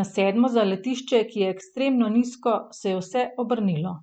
na sedmo zaletišče, ki je ekstremno nizko, se je vse obrnilo.